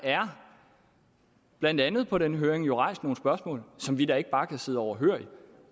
blandt andet på den høring jo er rejst nogle spørgsmål som vi da ikke bare kan sidde overhørig